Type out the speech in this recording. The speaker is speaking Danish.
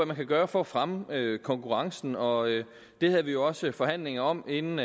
man kan gøre for at fremme konkurrencen og det havde vi jo også forhandlinger om inden